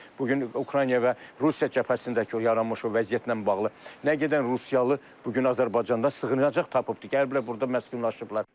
Bu gün Ukrayna və Rusiya cəbhəsindəki o yaranmış vəziyyətlə bağlı, nə qədən rusiyalı bu gün Azərbaycanda sığınacaq tapıbdır, gəliblər burda məskunlaşıblar.